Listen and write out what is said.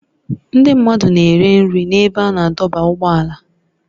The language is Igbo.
Ndị mmadụ na-ere nri n'ebe a na-adọba ụgbọala